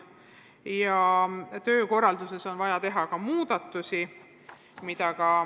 Ka töökorralduses on vaja teha muudatusi.